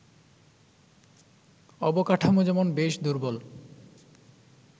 অবকাঠামো যেমন বেশ দুর্বল